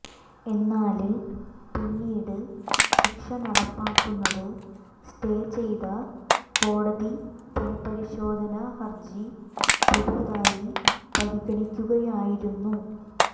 എന്നാല് പിന്നീട് ശിക്ഷ നടപ്പാക്കുന്നത് സ്റ്റേ ചെയ്ത കോടതി പുനപരിശോധന ഹര്ജി പുതുതായി പരിഗണിക്കുകയായിരുന്നു